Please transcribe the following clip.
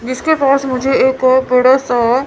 जिसके पास मुझे एक बड़ा सा--